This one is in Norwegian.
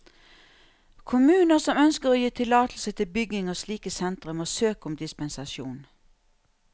Kommuner som ønsker å gi tillatelse til bygging av slike sentre, må søke om dispensasjon.